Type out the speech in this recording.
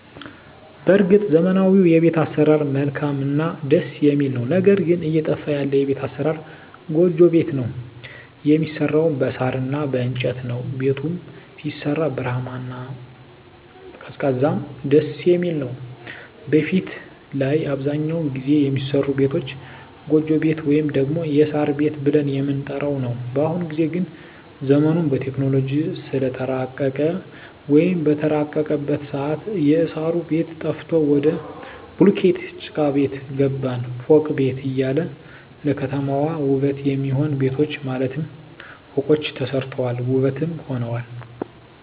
በርግጥ ዘመናዊዉ የቤት አሰራር መልካምእና ደስ የሚል ነዉ ነገር ግን እየጠፋ ያለ የቤት አሰራር ጎጆ ቤት ነዉ የሚሰራዉም በሳር እና በእንጨት ነዉ ቤቱም ሲሰራ ብርሃናማ እና ቀዝቃዛም ደስየሚል ነዉ በፊት ላይ አብዛኛዉን ጊዜ የሚሰሩ ቤቶች ጎጆ ቤት ወይም ደግሞ የሳር ቤት ብለን የምንጠራዉ ነዉ በአሁኑ ጊዜ ግን ዘመኑም በቴክኖሎጂ ስለተራቀቀ ወይም በተራቀቀበት ሰአት የእሳሩ ቤት ጠፍቶ ወደ ቡሉኬት ጭቃቤት ገባን ፎቅ ቤት እያለ ለከተማዋ ዉበት የሚሆኑ ቤቶች ማለትም ፎቆች ተሰርተዋል ዉበትም ሆነዋል